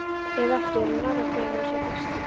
Ef ekki, er hann nálægt því að vera sá besti?